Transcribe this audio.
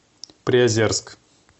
приозерск